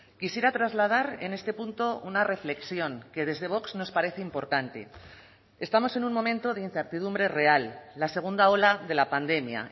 quisiera trasladar en este punto una reflexión que desde vox nos parece importante estamos en un momento de incertidumbre real la segunda ola de la pandemia